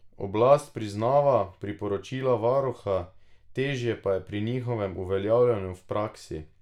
Oblast priznava priporočila varuha, težje pa je pri njihovem uveljavljanju v praksi.